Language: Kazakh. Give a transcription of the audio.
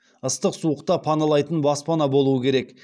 ыстық суықта паналайтын баспана болуы керек